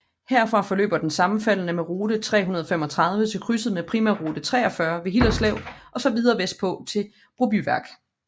Herfra forløber den sammenfaldende med rute 335 til krydset med primærrute 43 ved Hillerslev og så videre vestpå til Brobyværk